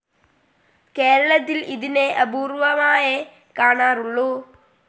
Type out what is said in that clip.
കേരളത്തിൽ ഇതിനെ അപൂർവ്വമായേ കാണാറുള്ളൂ.